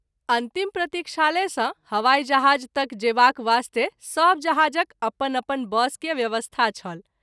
अंतिम प्रतिक्षालय सँ हवाई जहाज़ तक जेबाक वास्ते सभ जहाज़क अपन अपन बस के व्यवस्था छल।